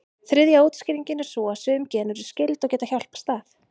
Þriðja útskýringin er sú að sum gen eru skyld, og geta hjálpast að.